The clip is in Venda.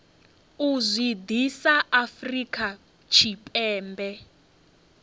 u zwi ḓisa afrika tshipembe